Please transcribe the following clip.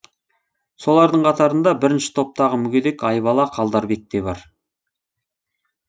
солардың қатарында бірінші топтағы мүгедек айбала қалдарбек те бар